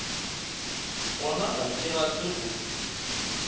gona ga ke rate go